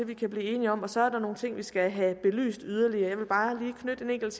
vi kan blive enige om og så er der nogle ting vi skal have belyst yderligere jeg vil bare lige knytte en enkelt